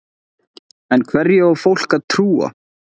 En hverju á fólk að trúa?